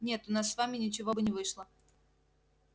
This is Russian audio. нет у нас с вами ничего бы не вышло